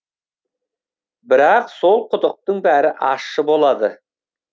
бірақ сол құдықтың бәрі ащы болады